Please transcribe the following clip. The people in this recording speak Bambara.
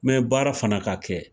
Mɛ baara fana ka kɛ,